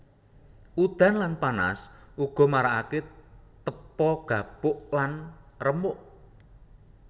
Udan lan panas uga marakake tepo gapuk lan remuk